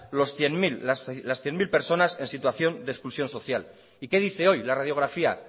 las cien mil personas en situación de exclusión social y qué dice hoy la radiografía